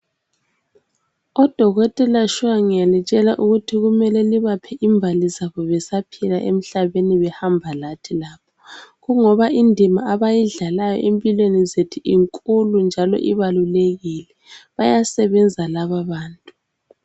Odokotela shuwa ngiyalitshela ukuthi kumele libaphe imbali zabo besaphila emhlabeni behamba lathi la kungoba indima abayidlalayo empilweni zethu inkulu njalo ibalulekile bayasebenza laba bantu.